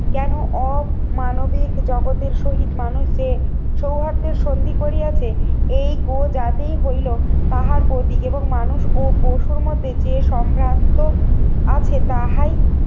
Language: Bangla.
কেন অমানবিক জগতের সহিত মানুষদের সৌহার্দ্যের সন্ধি করিয়াছে এই গো জাতিই হইলো তাহার প্রতীক এবং মানুষ ও পশুর মধ্যে যে সম্ভাব্য আছে তাহাই